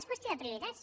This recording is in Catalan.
és qüestió de prioritats